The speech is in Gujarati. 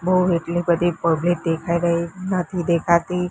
બૌ એટલી બધી પબ્લિક દેખાઈ રહી નથી દેખાતી.